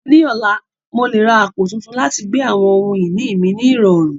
Ní ọ̀la, mo lè ra àpò tuntun láti gbé àwọn ohun ìní mi ní ìrọ̀rùn.